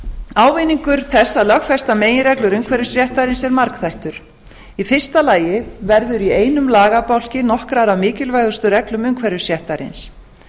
ávinningur þess að lögfesta meginreglur umhverfisréttarins eru margþættur í fyrsta lagi verður í einum lagabálki nokkrar af mikilvægustu reglum umhverfisréttarins